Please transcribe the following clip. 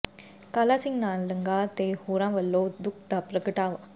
ਕਾਲਾ ਸਿੰਘ ਨਾਲ ਲੰਗਾਹ ਤੇ ਹੋਰਾਂ ਵੱਲੋਂ ਦੁੱਖ ਦਾ ਪ੍ਰਗਟਾਵਾ